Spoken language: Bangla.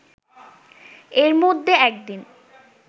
এর মধ্যে একদিন